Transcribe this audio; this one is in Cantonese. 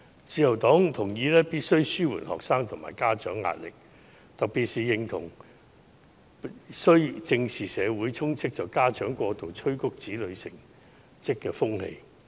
自由黨同意必須紓緩學生和家長的壓力，特別認同須正視社會充斥着家長過度催迫子女成績的風氣。